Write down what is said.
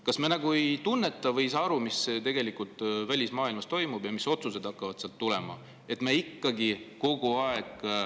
Kas me nagu ei tunneta või ei saa aru, mis tegelikult välismaailmas toimub ja mis otsused hakkavad sealt tulema?